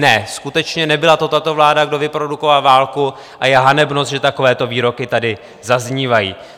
Ne, skutečně, nebyla to tato vláda, kdo vyprodukoval válku, a je hanebnost, že takovéto výroky tady zaznívají.